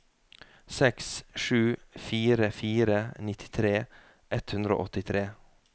seks sju fire fire nittitre ett hundre og åttitre